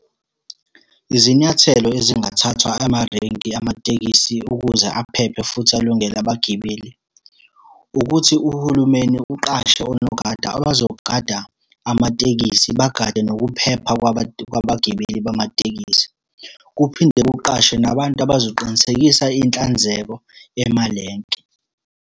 Izinyathelo ezingathathwa amarenki amatekisi ukuze aphephe futhi alungele abagibeli, ukuthi uhulumeni uqashe onogada abazogada amatekisi, bagade nokuphepha kwabagibeli bamatekisi. Kuphinde kuqashwe nabantu abazoqinisekisa inhlanzeko emalenke.